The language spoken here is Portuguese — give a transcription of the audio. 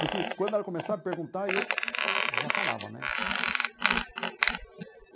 Porque quando ela começava a perguntar, eu já falava, né? Uhum.